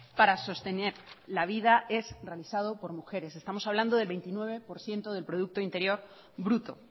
para sostener la vida es realizado por mujeres estamos hablando de veintinueve por ciento del producto interior bruto